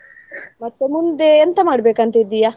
ಮತ್ತೆ ಮುಂದೆ ಎಂತ ಮಾಡ್ಬೇಕ್ ಅಂತಾ ಇದ್ದೆಯಾ?